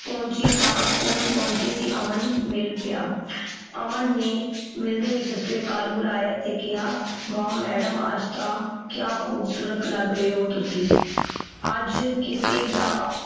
ਪਾਊੰਚੀ ਤਾਂ ਸਕੂਲ ਪਾਊੰਚੀ ਸੀ ਅਮਨ ਮਿਲ ਪੀਯਾ। ਅਮਨ ਨੇ ਮਿਲਦੇ ਹੀ ਸਤ ਸ੍ਰੀ ਅਕਾਲ ਬੁਲਾਇਆ ਤੇ ਕਿਹਾ, ਵਾਹ ਮੈਡਮ ਅੱਜ ਤਾਂ ਕਿਆ ਖੂਬਸੂਰਤ ਲੱਗ ਰਹੇ ਹੋ ਤੁਸੀਂ ਅੱਜ ਕਿਸੇ ਦਾ